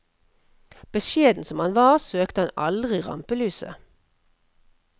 Beskjeden som han var, søkte han aldri rampelyset.